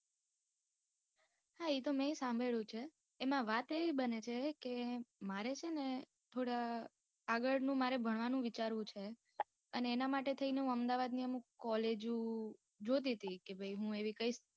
હા એ તો મેં ય સાંભળ્યું છે. એમાં વાત એવી બને છે, કે મારે છે ને થોડા આગળ નું મારે ભણવાનું વિચારવું છે, અને એના માટે થઇ ને હું અમદાવાદ ની થોડીક કોલેજો જોતી હતી. કે ભાઈ હું એવી કઈ